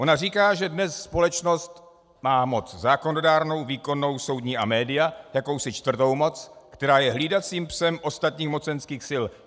Ona říká, že dnes společnost má moc zákonodárnou, výkonnou, soudní a média, jakousi čtvrtou moc, která je hlídacím psem ostatních mocenských sil.